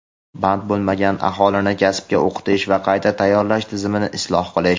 band bo‘lmagan aholini kasbga o‘qitish va qayta tayyorlash tizimini isloh qilish.